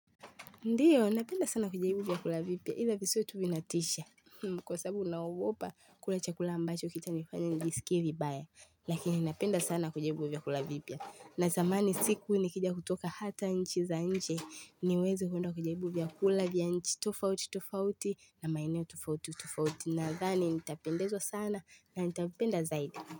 Ndiyo, napenda sana kujaribu vyakula vipya. Ile visio tu vinatisha. Kwa sababu naogopa, kula chakula ambacho kitanifanya njisikie vibaya. Lakini napenda sana kujaribu vyakula vipya. Na zamani siku nikija kutoka hata nchi za nje. Niweze kuenda kujaibu vyakula vya nchi. Tofauti, tofauti. Na maeneo tofauti, tofauti. Nadhani nitapendezwa sana. Na nitapenda zaidi.